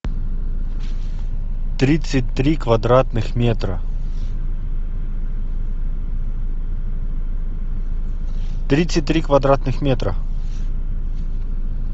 тридцать три квадратных метра тридцать три квадратных метра